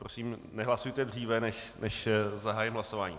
Prosím, nehlasujte dříve, než zahájím hlasování.